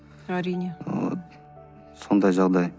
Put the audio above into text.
әрине сондай жағдай